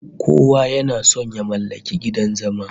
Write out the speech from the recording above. Kowa yana son ya mallaki gidan zama